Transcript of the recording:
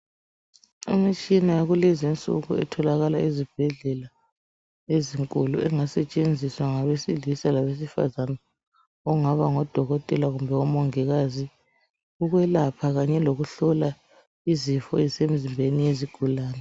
Imitshina yakulezi nsuku itholakala ezibhedlela ezinkulu engasetshenziswa ngabesilisa labesifazana okungaba ngodokotela kumbe omongikazi ukwelapha kanye lokuhlola ezisemzimbeni yezigulane.